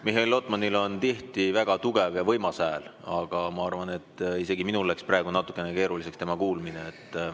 Mihhail Lotmanil on tihti väga tugev ja võimas hääl, aga ma arvan, et isegi minul läks praegu natuke keeruliseks teda kuulda.